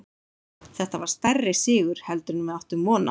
Þetta var stærri sigur heldur en við áttum von á.